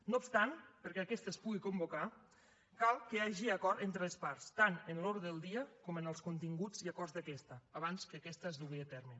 no obstant perquè aquesta es pugui convocar cal que hi hagi acord entre les parts tant en l’ordre del dia com en els continguts i acords d’aquesta abans que aquesta es dugui a terme